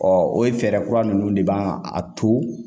o ye fɛɛrɛ kura ninnu de b'an a to